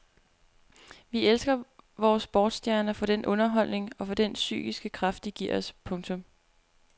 Vi elsker vore sportsstjerner for den underholdning og for den psykiske kraft de giver os. punktum